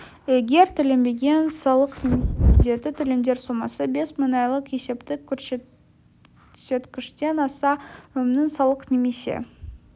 егер төленбеген салық немесе міндетті төлемдер сомасы бес мың айлық есептік көрсеткіштен асса ұйымның салық немесе